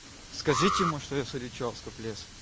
скажите ему что я с ильичёвска пожалуйста